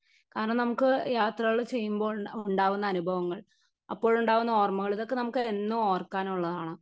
Speaker 1 കാരണം നമുക്ക് യാത്രകൾ ചെയ്യുമ്പോൾ ഉണ്ടാകുന്ന അനുഭവങ്ങൾ അപ്പോഴുണ്ടാണ്ടാകുന്ന ഓർമ്മകൾ ഇതൊക്കെ നമുക്ക് എന്നു ഓർക്കാനുള്ളതാണ്.